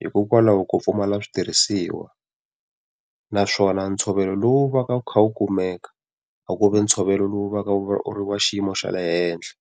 hikokwalaho ko pfumala switirhisiwa. Naswona ntshovelo lowu va ka wu kha wu kumeka a ku vi ntshovelo lowu va ka wu wa xiyimo xa le henhla.